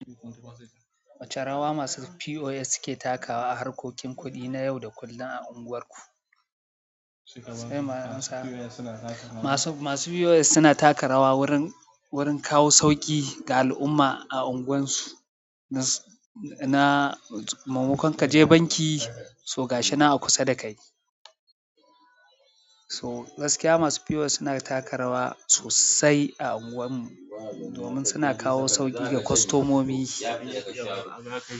Wace rawa masu POS suke takawa a harkokin kuɗi na yau da kullun a anguwarku? Masu POS suna taka rawa wurin kawo sauƙi ga al'umma a anguwan su. Na maimakon kaje banki, so ga shinan a kusa dakai. Gaskiya masu POS suna taka rawa sosai a anguwan mu. Domin suna kawo sauƙi ga kustomomi.